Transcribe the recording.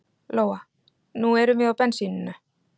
Lóa: Nú erum við á bensíninu?